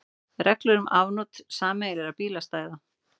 Reglur um afnot sameiginlegra bílastæða.